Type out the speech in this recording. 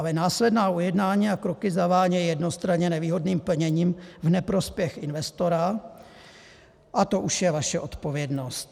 Ale následná ujednání a kroky zavánějí jednostranně nevýhodným plněním v neprospěch investora a to už je vaše odpovědnost.